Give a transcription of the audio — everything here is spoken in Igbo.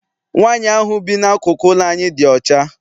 Nwaanyi ahụ bi n'akụkụ ụlọ anyị dị ọcha.